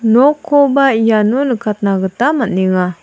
nokkoba iano nikatna gita man·enga.